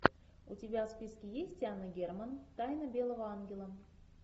у тебя в списке есть анна герман тайна белого ангела